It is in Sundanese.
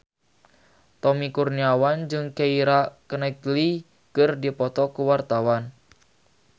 Tommy Kurniawan jeung Keira Knightley keur dipoto ku wartawan